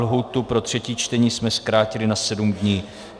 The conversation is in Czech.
Lhůtu pro třetí čtení jsme zkrátili na sedm dní.